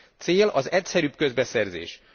Cél az egyszerűbb közbeszerzés!